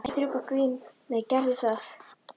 Ekki hætta að strjúka Grímur gerðu það.